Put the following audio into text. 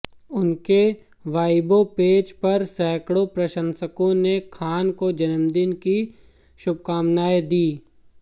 उनके Weibo page पर सैकड़ों प्रशंसकों ने खान को जन्मदिन की शुभकामनाएं दीं